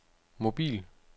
mobil